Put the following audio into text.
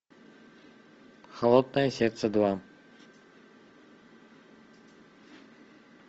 холодное сердце два